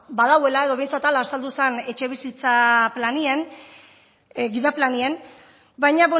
badagoela edo behintzat hala azaldu zen etxebizitza planean gida planean baina